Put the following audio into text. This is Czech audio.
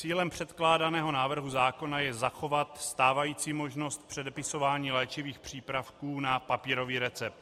Cílem předkládaného návrhu zákona je zachovat stávající možnost předepisování léčivých přípravků na papírový recept.